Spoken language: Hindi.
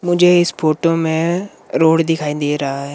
मुझे इस फोटो में रोड दिखाई दे रहा है।